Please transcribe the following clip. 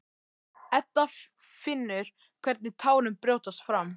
Edda finnur hvernig tárin brjótast fram.